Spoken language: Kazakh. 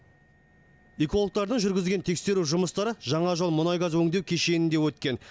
экологтордаң жүргізген тексеру жұмыстары жаңажол мұнай газ өңдеу кешенінде өткен